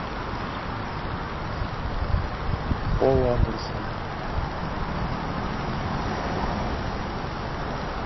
пол андерсон